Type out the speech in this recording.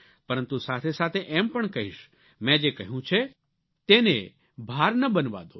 પરંતુ સાથેસાથે એમ પણ કહીશ મેં જે કહ્યું છે તેને ભાર ન બનવા દો